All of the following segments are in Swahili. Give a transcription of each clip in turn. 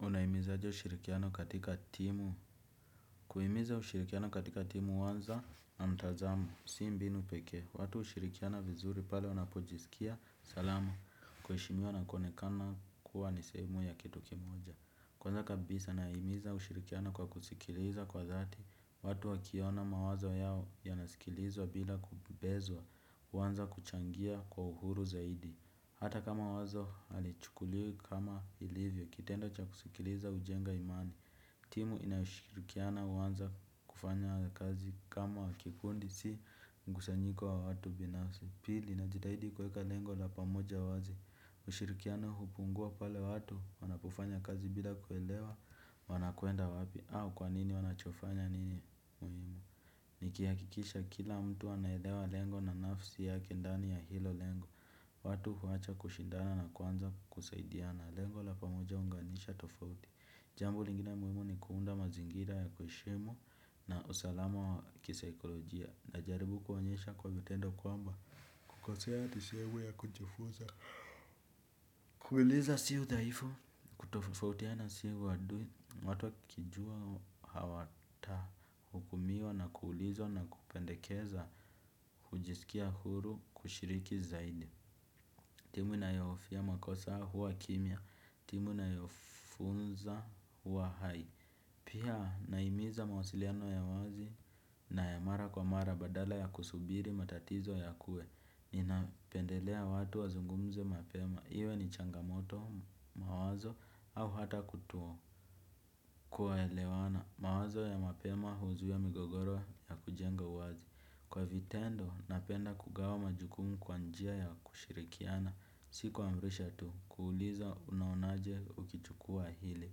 Unahimizaje ushirikiano katika timu. Kuhimiza ushirikiano katika timu huanza na mtazamo. Si mbinu pekee, watu hushirikiana vizuri pale wanapojisikia salama. Kuheshimiwa na kuonekana kuwa ni sehemu ya kitu kimoja. Kwanza kabisa nahimiza ushirikiano kwa kusikiliza kwa dhati. Watu wakiona mawazo yao yanasikilizwa bila kubezwa. Wanza kuchangia kwa uhuru zaidi. Hata kama wazo halichukuliwi kama ilivyo. Kitendo cha kusikiliza hujenga imani. Timu inayoshirikiana huanza kufanya kazi kama kikundi si mkusanyiko wa watu binafsi. Pili najitahidi kuweka lengo la pamoja wazi. Ushirikiano hupungua pale watu wanapofanya kazi bila kuelewa wanakwenda wapi au kwanini wanachofanya ni muhimu. Nikihakikisha kila mtu anaelewa lengo na nafsi yake ndani ya hilo lengo. Watu huwacha kushindana na kwanza kusaidiana. Lengo la pamoja huunganisha tofauti. Jambo lingine muhimu ni kuunda mazingira ya kuheshimu na usalama wa kisaikolojia. Najaribu kuonyesha kwa vitendo kwamba. Kukosea ni sehemu ya kujifuza. Kuuliza si udaifu. Kutofautiana si uadui. Watu wakijua hawatahukumiwa na kuulizwa na kupendekeza. Kujisikia huru kushiriki zaidi. Timu inayohofia makosa huwa kimya. Timu inayofunza huwa hai. Pia nahimiza mawasiliano ya wazi na ya mara kwa mara badala ya kusubiri matatizo yakue. Ninapendelea watu wazungumze mapema. Iwe ni changamoto, mawazo au hata kuto kuelewana mawazo ya mapema huzuia migogoro na kujenga uwazi kwa vitendo napenda kugawa majukumu kwa njia ya kushirikiana si kiamrisha tu kuuliza unaonaje ukichukua hili.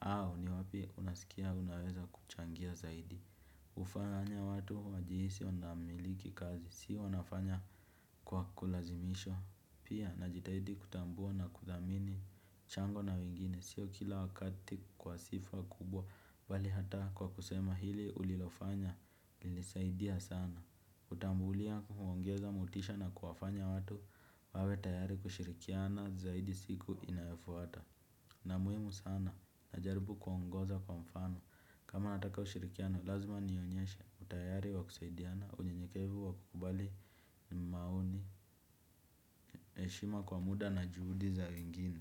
Au ni wapi unasikia unaweza kuchangia zaidi. Hufanya watu wajihisi wanamiliki kazi si wanafanya kwa kulazimisha. Pia na jitahidi kutambua na kuthamini mchango na wengine sio kila wakati kwa sifa kubwa bali hata kwa kusema hili ulilofanya lilisaidia sana. Kutambulia kuongeza mutisha na kuwafanya watu wawe tayari kushirikiana zaidi siku inayafuata. Na muhimu sana najaribu kuongoza kwa mfano. Kama nataka ushirikiano lazima nionyeshe utayari wa kusaidiana unyenyekevu wa kukubali maoni. Heshima kwa muda na juhudi za wengine.